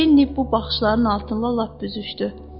Lenni bu baxışların altında lap büzüşdü.